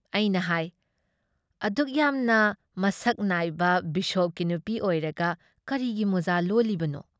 ꯑꯩꯅ ꯍꯥꯏ ꯑꯗꯨꯛ ꯌꯥꯝꯅ ꯃꯁꯛ ꯅꯥꯏꯕ ꯕꯤꯁꯣꯞꯀꯤ ꯅꯨꯄꯤ ꯑꯣꯏꯔꯒ ꯀꯔꯤꯒꯤ ꯃꯣꯖꯥ ꯂꯣꯜꯂꯤꯕꯅꯣ?